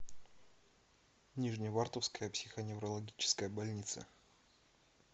нижневартовская психоневрологическая больница